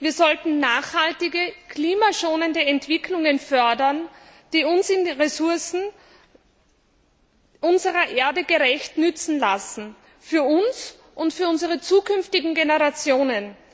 Wir sollten nachhaltige und klimaschonende Entwicklungen fördern, die uns die Ressourcen unserer Erde gerecht nutzen lassen, für uns und für unsere zukünftigen Generationen.